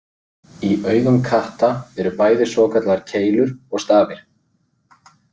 Í augum katta eru bæði svokallaðar keilur og stafir.